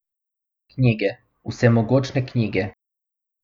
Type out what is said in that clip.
Knjige, vsemogočne knjige.